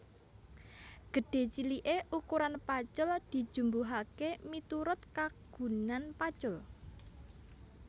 Gedhé ciliké ukuran pacul dijumbuhaké miturut kagunan pacul